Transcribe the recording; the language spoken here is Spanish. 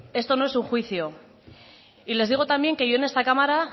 esto no es un juicio y les digo también que yo en esta cámara